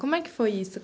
Como é que foi isso?